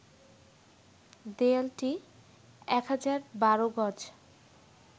দেয়ালটি ১,০১২ গজ